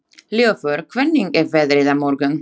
Ljúfur, hvernig er veðrið á morgun?